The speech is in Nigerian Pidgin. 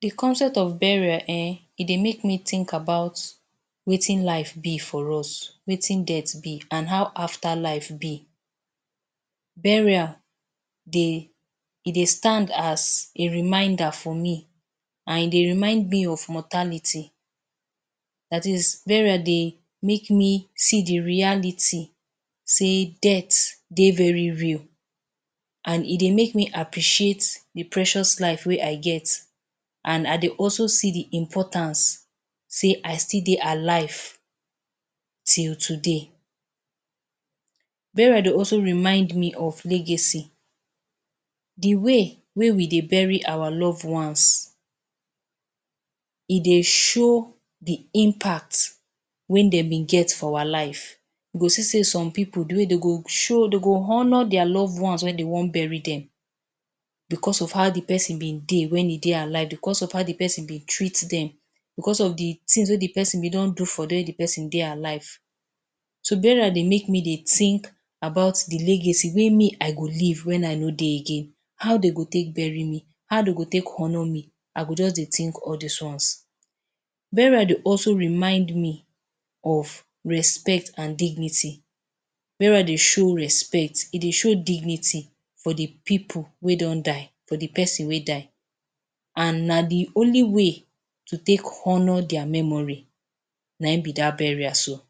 The concept of burial eh e dey make me think about wetin life be for us, wetin death be, an how afterlife be. Burial dey e dey stand as a reminder for me an e dey remind me of mortality. Dat is, burial dey make me see the reality sey death dey very real, an e dey make me appreciate the precious life wey I get an I dey also see the importance sey I still dey alive till today. Burial dey also remind me of legacy. The way wey we dey bury our love ones e dey show the impact wey de been get for our life. You go see sey some pipu, the way de go show de go honour dia love ones wen de wan bury dem becos of how the peson been dey wen e dey alive, becos of how the peson been treat dem, becos of the tins wey the peson been don do for dem if the peson dey alive. So, burial dey make me dey think about the legacy wey me I go leave wen I no dey again. How de go take bury mr? How de go take honour me? I go juz dey think all dis ones. Burial dey also remind me of respect an dignity. Burial dey show respect, e dey show dignity for the pipu wey don die, for the peson wey die. An na the only way to take honour dia memory na ein be dat burial so.